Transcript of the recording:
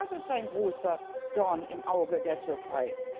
Auch das ist ein großer Dorn im Auge der Türkei!